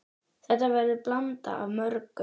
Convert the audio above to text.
Þetta verður blanda af mörgu.